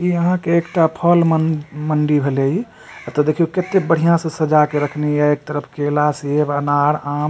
इ अहां के एकटा फल मन मंडी भेले इ एते देखियों कते बढ़िया से सजा के रखले ये एक तरफ केला सेब अनार आम।